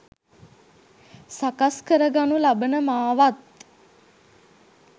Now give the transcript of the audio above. සකස් කරගනු ලබන මාවත්